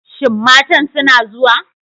Shin matan suna zuwa?